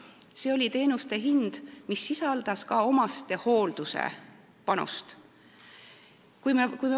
See oli teenuste hind, mis sisaldas ka omastehoolduse panust.